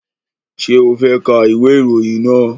Ṣé o fẹ́ ka ìwé ìròyìn náà?